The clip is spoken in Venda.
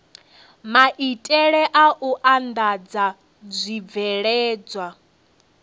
maitele a u andadza zwibveledzwa